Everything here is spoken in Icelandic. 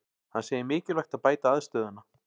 Hann segir mikilvægt að bæta aðstöðuna